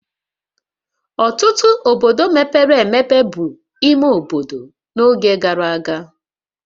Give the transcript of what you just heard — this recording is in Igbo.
Ọtụtụ obodo mepere emepe bụ ime obodo n'oge gara aga